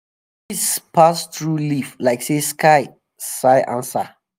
breeze breeze pass through leaf like say sky um sigh answer.